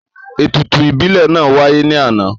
Ètùtù ìbílẹ̀ náà wáyé ní àná